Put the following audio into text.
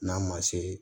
N'a ma se